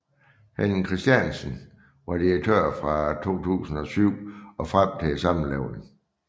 Henning Christiansen var direktør fra 2007 og frem til sammenlægningen